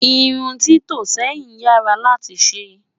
irún tito sẹyìn yaa rà láti ṣé